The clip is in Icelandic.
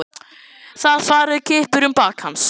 Það fara kippir um bak hans.